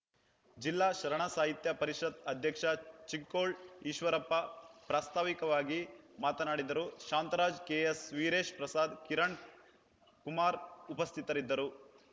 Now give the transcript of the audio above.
ಜಿಲ್ಲಾ ಶರಣ ಸಾಹಿತ್ಯ ಪರಿಷತ್‌ ಅಧ್ಯಕ್ಷ ಚಿಕ್ಕೋಳ್‌ ಈಶ್ವರಪ್ಪ ಪ್ರಾಸ್ತಾವಿಕವಾಗಿ ಮಾತನಾಡಿದರು ಶಾಂತರಾಜ್‌ ಕೆಎಸ್‌ ವೀರೇಶ್‌ ಪ್ರಸಾದ್‌ ಕಿರಣ್‌ ಕುಮಾರ್‌ ಉಪಸ್ಥಿತರಿದ್ದರು